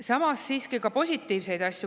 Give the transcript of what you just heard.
Samas on siiski ka positiivseid asju.